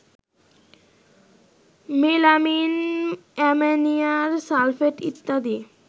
melamine, ammonium sulphate ইত্যাদি